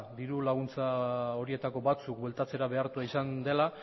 diru laguntza horietako batzuk bueltatzera behartua izan dela